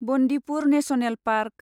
Bandipur national park